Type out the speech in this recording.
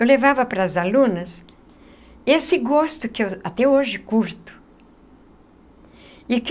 Eu levava para as alunas esse gosto que eu até hoje curto e que.